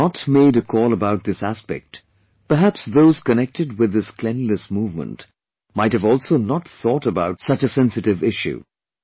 If you had not made a call about this aspect, perhaps those connected with this cleanliness movement might have also not thought about such a sensitive issue